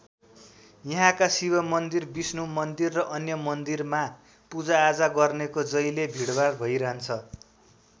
यहाँका शिव मन्दिर विष्णु मन्दिर र अन्य मन्दिरमा पूजाआजा गर्नेको जहिल्यै भिडभाड भइरहन्छ।